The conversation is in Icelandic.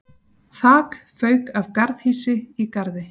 Þak fauk af garðhýsi í Garði